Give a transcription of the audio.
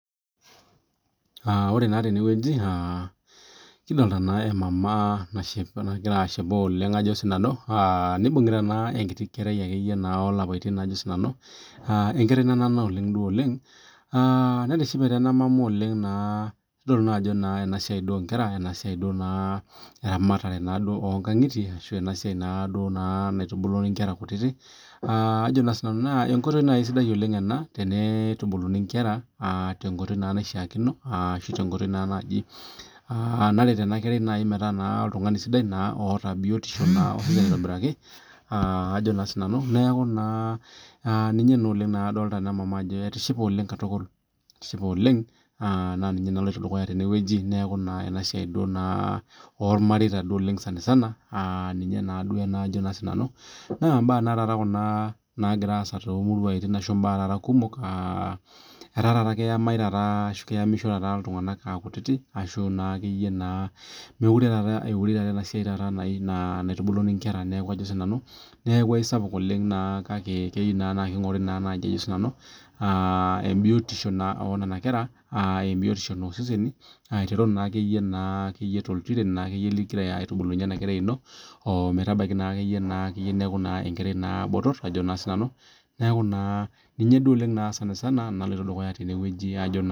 ore naa tenewueji naa kidolita emama nagira ashipa oleng nibungita enkerai olapaiyon Ajo nanu enkerai nana oleng netishipe naa ena mama oleng kidolita naa Ajo enasiai oo nkang'itie enasiai duo naitubulu Nkera kutiti naa enkoitoi sidai ena naitutuni Nkera tenkoitoi naishakino ashu tenkoitoi naretu ena kerai metaa oltung'ani sidai otaa biotisho sidai neeku ninye adolita ena mama Ajo etishipe oleng naa ninye nalotu dukuya tenewueji neeku enasiai ormareita ninye duo sanisana naa mbaa Kuna naagiira asaa too muruan kumok etaa taata keyamisho iltung'ana aa kutiti mekure etae enasiai naitubuluni Nkera neeku aisapuk naa kake keyieu naa ning'ori biotisho enena kera biotisho oo seseni aiteru naa akeyie too ilntiren ligira aitubulunye ena kerai eno ometaa oltung'ani botor neeku duo ninye sanisana naloito dukuya